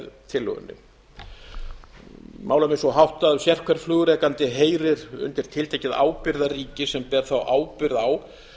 málum er svo háttað að sérhver flugrekandi heyrir undir tiltekið ábyrgðarríki sem ber þá ábyrgð á